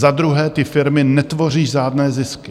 Za druhé, ty firmy netvoří žádné zisky.